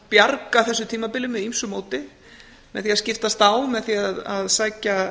bjarga þessu tímabili með ýmsu móti með því að skiptast á með því að sækja